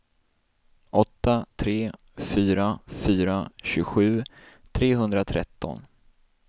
åtta tre fyra fyra tjugosju trehundratretton